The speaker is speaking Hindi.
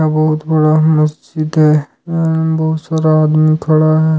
बहुत बड़ा मस्जिद है एवं बहुत सारा आदमी खड़ा है।